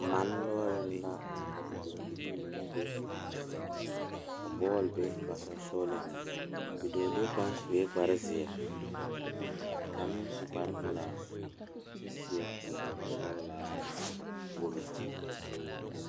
Pɔgeba ane bibiiri la ka bondire a kabɔɔti poɔ ka talaare be a be poɔ kaa kodo vaare meŋ be a be kaa bie kaŋa a iri gaŋe kyɛ seɛ kuri sɔglaa wogi.